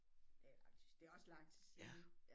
Det er lang det er også lang tid siden ja